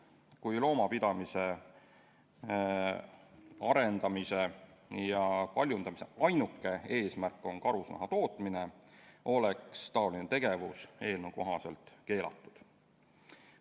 Kui loomapidamise arendamise ja paljundamise ainuke eesmärk on karusnaha tootmine, oleks see tegevus eelnõu kohaselt keelatud.